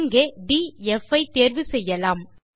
இங்கே டிஎஃப் ஐ தேர்வு செய்யலாம்